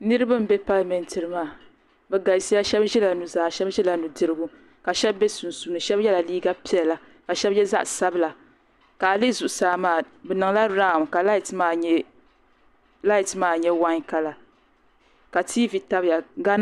Niriba m be Palimenti ni maa bɛ galisiya sheba ʒila nudirigu sheba ʒila nuzaa ka sheba be sunsuuni sheba yela liiga piɛla ka sheba ye zaɣa sabila ka a lihi zuɣusaa maa bi niŋla rawn ka laati maa nyɛ waai kala ka tiivi tabya gaana.